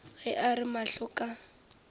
ge a re mahlo ka